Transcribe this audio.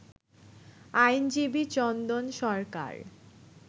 আইনজীবী চন্দন সরকার